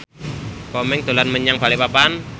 Komeng dolan menyang Balikpapan